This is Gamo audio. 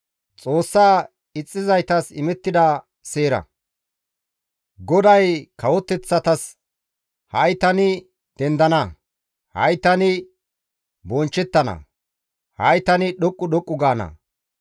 GODAY kawoteththatasi, «Ha7i tani dendana; ha7i tani bonchchettana; ha7i tani dhoqqu dhoqqu gaana.